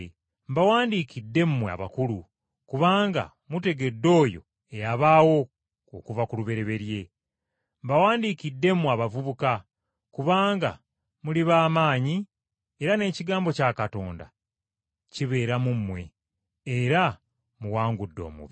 Mbawandiikidde mmwe abakulu kubanga mutegedde oyo eyabaawo okuva ku lubereberye. Mbawandiikidde mmwe abavubuka kubanga muli ba maanyi era n’ekigambo kya Katonda kibeera mu mmwe, era muwangudde omubi.